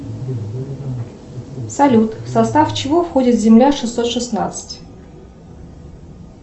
салют в состав чего входит земля шестьсот шестнадцать